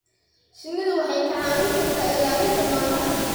Shinnidu waxay kaa caawin kartaa ilaalinta noolaha.